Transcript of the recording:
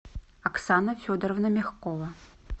оксана федоровна мягкова